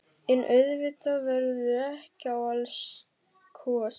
En auðvitað verður ekki á allt kosið.